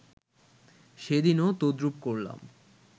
সেদিনও তদ্রূপ করলাম